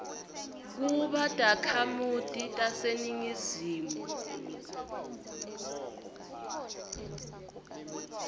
kuba takhamiti taseningizimu